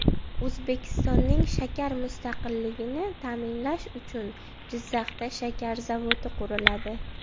O‘zbekistonning shakar mustaqilligini ta’minlash uchun Jizzaxda shakar zavodi quriladi.